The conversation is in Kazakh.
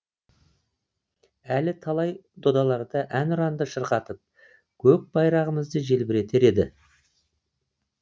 әлі талай додаларда әнұранды шырқатып көк байрағымызды желбіретер еді